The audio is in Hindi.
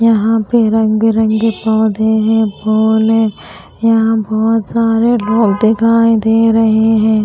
यहां पे रंग बिरंगे पौधे हैं फूल है यहां बहोत सारे लोग दिखाई दे रहे हैं।